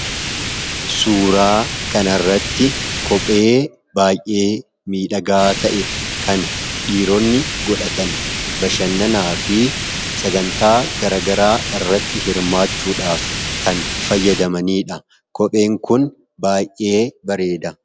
Suuraa kanarratti kophee baay'ee miidhaga ta'e kan dhiiroonni godhatan, bashannaanaa fi sagantaa garagaraa irratti hirmaachuudhaf kan fayyadamanidha. kopheen kun baay'ee bareeda.